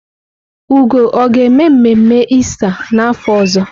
Ugo ọ ga-eme mmemme Ista n'afọ ọzọ?